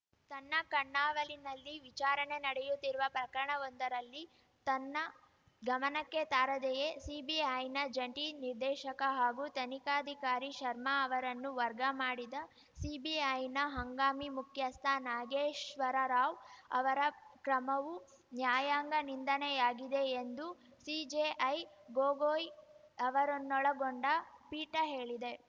ತನ್ನ ಕಣ್ಣಾವಲಿನಲ್ಲಿ ವಿಚಾರಣೆ ನಡೆಯುತ್ತಿರುವ ಪ್ರಕರಣವೊಂದರಲ್ಲಿ ತನ್ನ ಗಮನಕ್ಕೆ ತಾರದೆಯೇ ಸಿಬಿಐನ ಜಂಟಿ ನಿರ್ದೇಶಕ ಹಾಗೂ ತನಿಖಾಧಿಕಾರಿ ಶರ್ಮಾ ಅವರನ್ನು ವರ್ಗ ಮಾಡಿದ ಸಿಬಿಐನ ಹಂಗಾಮಿ ಮುಖ್ಯಸ್ಥ ನಾಗೇಶ್ವರರಾವ್‌ ಅವರ ಕ್ರಮವು ನ್ಯಾಯಾಂಗ ನಿಂದನೆಯಾಗಿದೆ ಎಂದು ಸಿಜೆಐ ಗೊಗೋಯ್‌ ಅವರನ್ನೊಳಗೊಂಡ ಪೀಠ ಹೇಳಿದೆ